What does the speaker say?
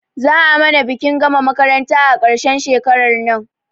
Za a mana bikin gama makaranta a ƙarshen shekarar nan